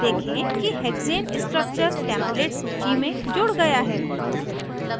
देखें कि hexane structure template सूची में जुड़ गया है